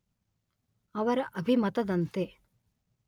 ಅವರ ಅಭಿಮತದಂತೆ